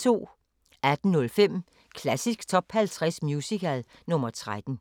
18:05: Klassisk Top 50 Musical – nr. 13